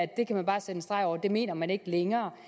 det kan man bare slå en streg over og det mener man ikke længere